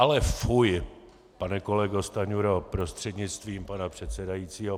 Ale fuj! pane kolego Stanjuro prostřednictvím pana předsedajícího.